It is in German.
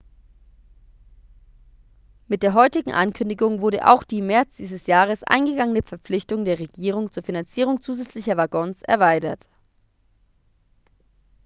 mit der heutigen ankündigung wurde auch die im märz dieses jahres eingegangene verpflichtung der regierung zur finanzierung zusätzlicher waggons erweitert